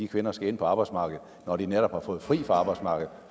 kvinder skal ind på arbejdsmarkedet når de netop har fået fri fra arbejdsmarkedet